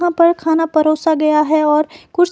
वहां पर खाना परोसा गया है और कुछ--